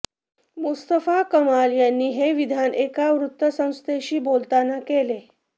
Mustafa Kemal यांनी हे विधान एका वृत्तसंस्थेशी बोलताना केले